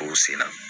O sen na